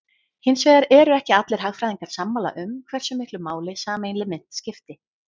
Hins vegar eru ekki allir hagfræðingar sammála um hversu miklu máli sameiginleg mynt skipti.